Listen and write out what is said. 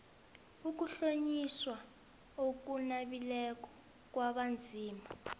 ukuhlonyiswa okunabileko kwabanzima